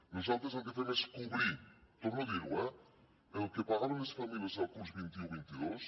nosaltres el que fem és cobrir torno a dir ho eh el que pagaven les famílies el curs vint un vint dos